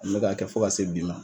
N bɛ ka kɛ fo ka se bi ma.